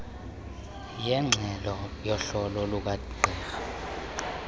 yengxelo yohlolo lukagqirha